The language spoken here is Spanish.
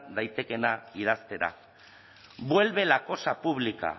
daitekeena idaztera vuelve la cosa pública